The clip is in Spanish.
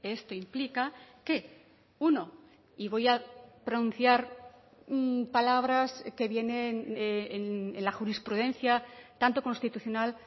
esto implica que uno y voy a pronunciar palabras que vienen en la jurisprudencia tanto constitucional